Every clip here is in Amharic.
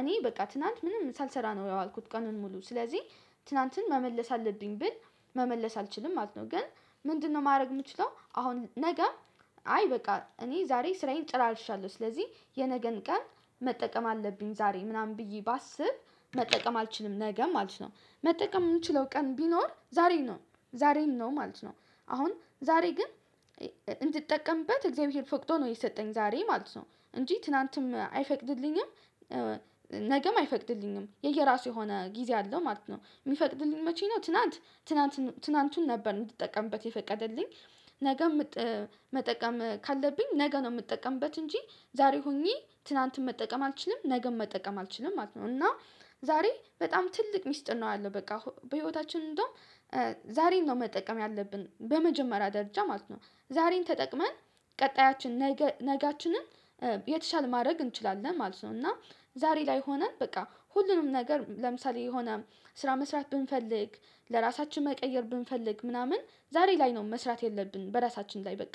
እኔ በቃ ትናንት ምንም ሳልሰራ ነው ያዋልኩት ቀኑን ሙሉ ስለዚህ ትላንትን መመለስ አለብኝ ብል። መመለስ አልችልም ማለት ነው። ግን ምንድነው ማድረግ የምችለው አሁን ነገ? አይ በቃ እኔ ዛሬ ስራዬን ጨራርሻለሁ ስለዚህ የነገን ቀን መጠቀም አለብኝ ዛሬ ምናምን ብዬ ባስብ መጠቀም አልችልም ነገም አልችለውም መጠቀም የምንችለው ቀን ቢኖር ዛሬ ነው። ዛሬም ነው ማለት ነው። አሁን ዛሬ ግን እንድትጠቀምበት እግዚአብሔር ፈቅዶ ነው የሰጠኝ ዛሬ ማለት ነው እንጂ ትላንትም አይፈቅድልኝም። ነገም አይፈቅድልኝም የየራሱ የሆነ ጊዜ አለው ማለት ነው። የሚፈቅድልኝ መቼ ነው? ትናንት ትናንቱን ነበር የምትጠቀምበት የፈቀደልኝ። ነገ መጠቀም ካለብኝ ነገ ነው የምጠቀምበት እንጂ። ዛሬ ሆኜ ትናንትም መጠቀም አልችልም ነገም መጠቀም አልችልም ማለት ነው። እና ዛሬ በጣም ትልቅ ሚስጥር ነው ያለው በቃ በህይወታችን እንደውም። ዛሬን ነው መጠቀም ያለብን በመጀመሪያ ደረጃ ማለት ነው። ዛሬን ተጠቅመን ቀጣያችን ነገ ነገአችንን የተሻለ ማድረግ እንችላለን ማለት ነው። እና ዛሬ ላይ ሆነን በቃ ሁሉንም ነገር ለምሳሌ የሆነ ስራ መስራት ብንፈልግ ለራሳችን መቀየር ብንፈልግ ምናምን ዛሬ ላይ ነው መስራት የለብንም በራሳችን ላይ በቃ።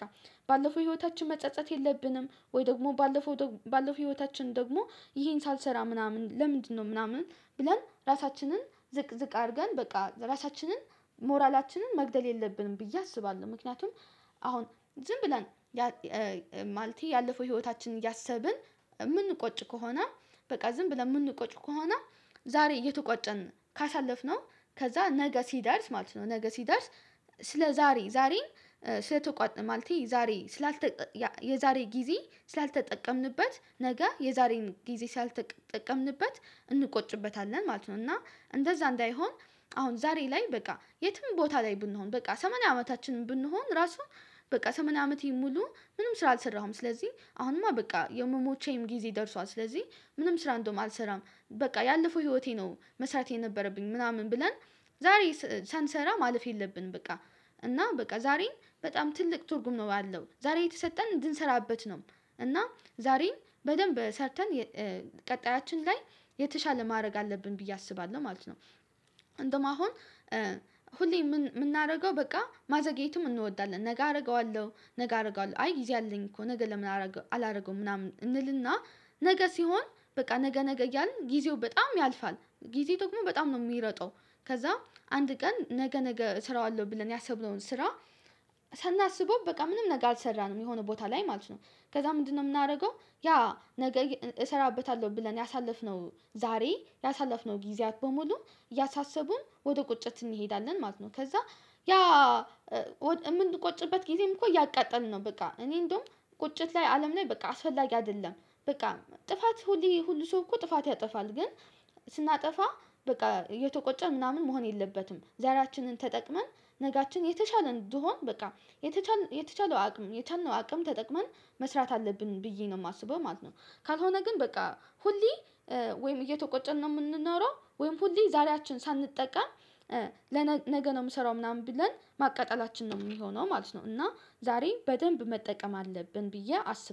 ባለፈው ህይወታችን መጸጸት የለብንም ወይ ደግሞ ባለፈው ባለፈው ህይወታችን ደግሞ ይሄን ሳልሰራ ምናምን ለምንድነው ምናምን? ብለን ራሳችንን ዝቅዝቅ አድርገን በቃ ራሳችንን ሞራላችንን መግደል የለብንም ብዬ አስባለሁ ምክንያቱም። አሁን ዝም ብለን ማልቴ ያለፈው ህይወታችን እያሰብን የምንቆጭ ከሆነ በቃ ዝም ብለን የምንቆጭ ከሆነ። ዛሬ እየተቋጨን ካሳለፍነው ከዛ ነገ ሲደርስ ማለት ነው ነገ ሲደርስ ስለ ዛሬ ዛሬን የዛሬ ጊዜ ስላልተጠቀምንበት ነገ የዛሬን ጊዜ ሳልጠቀምንበት እንቆጭበታለን ማለት ነው። እና እንደዛ እንዳይሆን። አሁን ዛሬ ላይ በቃ የትም ቦታ ላይ ብንሆን በቃ ሰማንያ አመታችን ብንሆን ራሱ። በቃ ሰመንያ አመቴ ሙሉ ምንም ስራ አልሰራሁም ስለዚህ አሁንማ በቃ የመሞቻዬም ጊዜ ደርሷል ስለዚህ። ምንም ስራ እንደውም አልሰራም በቃ ያለፈው ህይወቴ ነው መስራቴ የነበረብኝ ምናምን ብለን ዛሬ ሳንሰራ ማለፍ የለብንም በቃ። እና በቃ ዛሬም በጣም ትልቅ ትርጉም ነው ያለው ዛሬ የተሰጠን እንድንሰራበት ነው። እና ዛሬን በደንብ ሰርተን ቀጣያችን ላይ የተሻለ ማድረግ አለብን ብዬ አስባለሁ ማለት ነው። እንደውም አሁን ሁሌ የምናደርገው በቃ ማዘግየቱም እንወዳለን ነገ አደርገዋለሁ ነገ አደርገዋለሁ አይ ጊዜ አለኝ እኮ ነገ ለምን አላደርገውም ምናምን እንልና። ነገ ሲሆን በቃ ነገ ነገ እያልን ጊዜው በጣም ያልፋል ጊዜ ተቁሞ በጣም ነው የሚሮጠው። ከዛ አንድ ቀን ነገ ነገ እስራዋለሁ ብለን ያሰብነውን ስራ። ሳናስበው በቃ ምንም ነገር አልሰራንም የሆነ ቦታ ላይ ማለት ነው። ከዛ ምንድነው የምናደርገው? ያ ነገ እሰራበታለሁ ብለን ያሳለፍነው ዛሬ ያሳለፍነው ጊዜያት በሙሉ እያሳሰቡን ወደ ቁጭት እንሄዳለን ማለት ነው። ከዛ ያ የምንቆጭበት ጊዜም እኮ እያቃጠልን ነው። በቃ እኔ እንደውም ቁጭት ላይ አለም ላይ በቃ አስፈላጊ አይደለም። በቃ ጥፋት ሁሌ ሁሉ ሰው እኮ ጥፋት ያጠፋል ግን። ስናጠፋ በቃ እየተቆጨን ምናምን መሆን የለበትም። ዛሬያችንን ተጠቅመን ነጋችን የተሻለ እንዲሆን በቃ የተቻለ የተቻለው አቅም የቻልነው አቅም ተጠቅመን መስራት አለብን ብዬ ነው የማስበው ማለት ነው። ካልሆነ ግን በቃ ሁሌ ወይም እየተቆጨን ነው የምንኖረው ወይም ሁሌ ዛሬያችን ሳንጠቀም ነገ ነው የምሰራው ምናምን ብለን ማቀጠላችን ነው የሚሆነው ማለት ነው። እና ዛሬ በደንብ መጠቀም አለብን ብዬ አስብ